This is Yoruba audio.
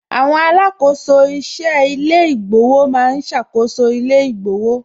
Àwọn alákòóso iṣẹ́ ilé ìgbowó ma ń ṣàkóso ilé ìgbowó